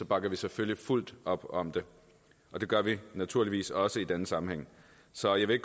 bakker vi selvfølgelig fuldt op om det og det gør vi naturligvis også i denne sammenhæng så jeg vil